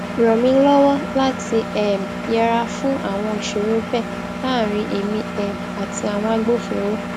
ràn mí lówó láti um yẹra fún àwọn ìṣòro bee láàárín èmi um àti àwọn agbofinro